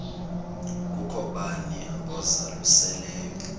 kukho bani uzalusileyo